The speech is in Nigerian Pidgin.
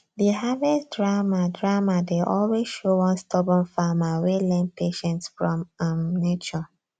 the harvest drama drama dey always show one stubborn farmer wey learn patience from um nature